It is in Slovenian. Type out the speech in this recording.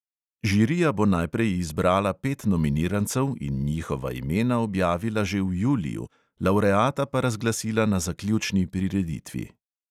Žirija bo najprej izbrala pet nominirancev in njihova imena objavila že v juliju, lavreata pa razglasila na zaključni prireditvi.